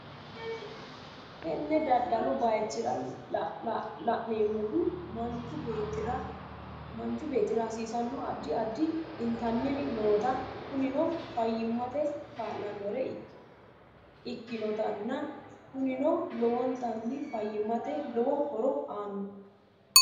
Teene daadalu baaychira laanemhuu maanchu bettira hasisanno addi addi entanni ri noota kuninno faymaate kaalanore ekkinotana kuunino loowontanni faaymate loowo hooro aano.